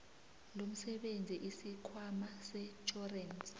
lomsebenzi isikhwama setjhorensi